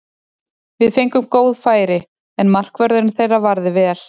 Við fengum góð færi, en markvörðurinn þeirra varði vel.